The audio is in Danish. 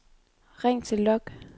ring til log